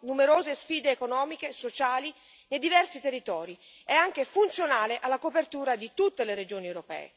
numerose sfide economiche e sociali dei diversi territori e anche funzionale alla copertura di tutte le regioni europee.